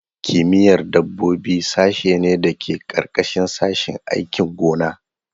Kimiyyar dabbobi sashe ne da ke ƙarƙashin sashin aikin gona.